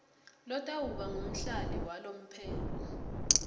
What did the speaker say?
lotawuba ngumhlali walomphelo